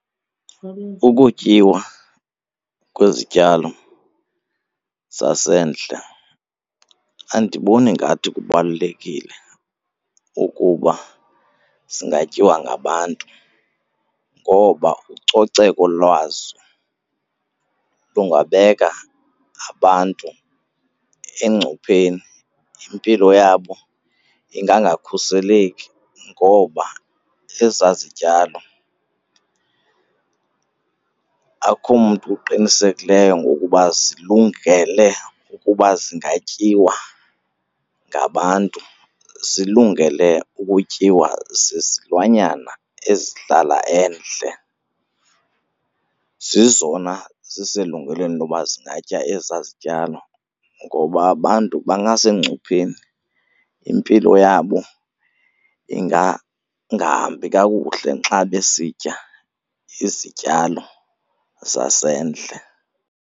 Ukutyiwa kwezityalo zasendle andiboni ngathi kubalulekile ukuba zingatyiwa ngabantu ngoba ucoceko lwazo kungabeka abantu engcupheni, impilo yabo ingangakhuseleki ngoba ezaa zityalo akukho mntu uqinisekileyo ngokuba zilungele ukuba zingatyiwa ngabantu. Zilungele ukutyiwa zizilwanyana ezihlala endle, zezona ziselungelweni loba zingatya ezaa zityalo ngoba abantu bangasengcupheni, impilo yabo ingangahambi kakuhle xa besitya izityalo zasendle.